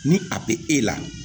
Ni a be e la